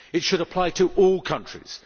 It should apply to all countries.